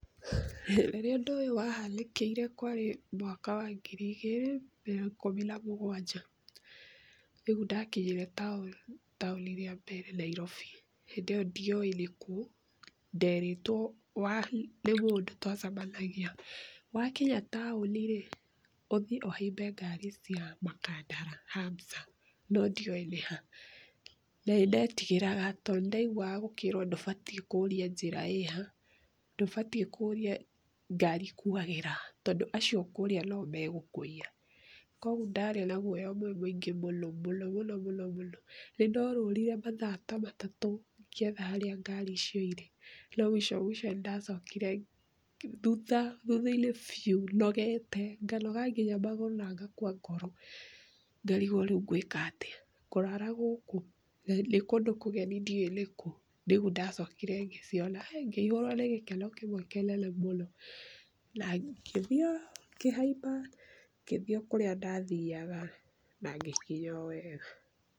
Rĩrĩa ũndũ ũyũ wahanĩkĩire kwarĩ mwaka wa ngiri igĩrĩ na ikumi na mũgwanja. Nĩguo ndakinyire taũni rĩa mbere Nairobi. Hĩndĩ ĩyo ndiowĩ nĩkũ. Nderitwo nĩ mũndũ twacemanagia. Wakinya taũni rĩ, ũthiĩ ũhambe ngari cia Makandara Hamsa no ndiowĩ nĩ ha. Na nĩ ndetigagĩra tondũ nĩ ndaiguaga gũkĩrwo ndũbatiĩ kũũria njĩra ĩha, ndũbatiĩ kũũria ngaari ĩkuagĩra ha tondũ acio ũkũria no megũkũiya. Koguo ndarĩ na guoya mũingĩ mũno mũno mũno. Nĩ ndorũrire mathaa ta matatũ ngĩetha harĩa ngari icio irĩ. No mũico mũico nĩndacokire, thutha-inĩ biũ, nogete, nganoga nginya magũrũ na ngakua ngoro, ngarigwo rĩu ngũĩka atĩa, ngũrara gũkũ? na nĩ kũndũ kũgeni ndiũwĩ nĩ kũ. Rĩu nĩrĩo ndacokire ngĩciona, Hĩ! ngĩihũrwo nĩ gĩkeno kĩmwe kĩnene mũno, na ngĩthiĩ ngĩhaimba ngĩthiĩ o kũrĩa ndathiaga, na ngĩkinya o wega.